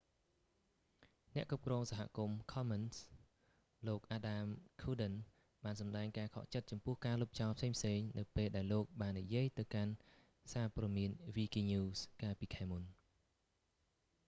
អ្នកគ្រប់គ្រងសហគមន៍ ខំមិនស៍ commons លោក អាដាម ឃួរដិន adam cuerden បានសម្តែងការខកចិត្តចំពោះការលុបចោលផ្សេងៗ នៅពេលដែលលោកបាននិយាយទៅកាន់សារព៍ត៌មានវីគីញូស wikinews កាលពីខែមុន